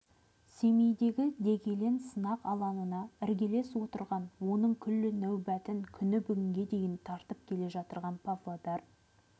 семейдегі дегелең сынақ алаңына іргелес отырған оның күллі нәубетін күні бүгінге дейін тартып келе жатырған павлодар